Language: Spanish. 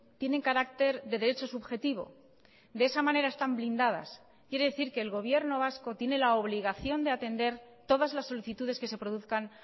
tienen carácter de derecho subjetivo de esa manera están blindadas quiere decir que el gobierno vasco tiene la obligación de atender todas las solicitudes que se produzcan